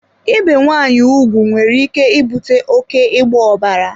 Ibe nwaanyị ugwu nwere ike ibute oké ịgba ọbara.